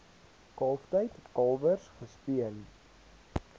kalftyd kalwers gespeen